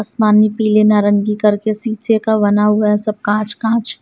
आसमान मे पीले नारंगी करके शीशे का बना हुआ है सब कांच कांच--